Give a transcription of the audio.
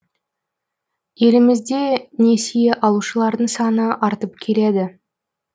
елімізде несие алушылардың саны артып келеді